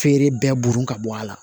Feere bɛɛ burun ka bɔ a la